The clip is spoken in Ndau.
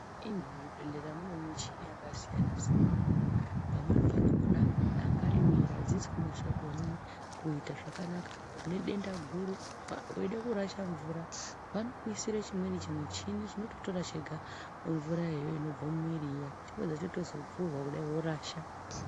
Muzvibhehlera mune muchini yakasiyana siyana. Pamweni pakona dangani miro adzisi kunasa zvakanaka une denda guru. Weida kurasha mvura vanokuisire chimweni chimuchini chinototora chega mvurayo iyoyo inobva mumwiri chapedza chozotovhurwa vorasha.